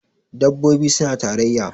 dabbobi suna tarayya